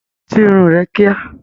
Tú irun rẹ kíá!